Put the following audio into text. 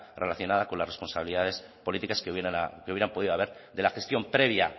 relacionada con las responsabilidades políticas que hubieran podido haber de la gestión previa